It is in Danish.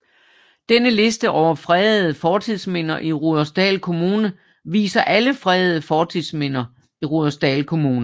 Denne liste over fredede fortidsminder i Rudersdal Kommune viser alle fredede fortidsminder i Rudersdal Kommune